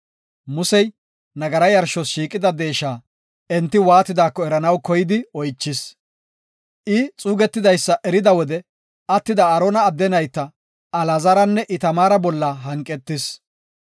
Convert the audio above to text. Musey nagara yarshos shiiqida deesha enti waatidaako eranaw koyidi oychis; I xuugetidaysa erida wode attida Aarona adde nayta, Alaazaranne Itamaara bolla hanqetis.